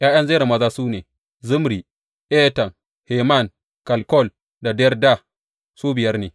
’Ya’yan Zera maza su ne, Zimri, Etan, Heman, Kalkol da Darda, su biyar ne.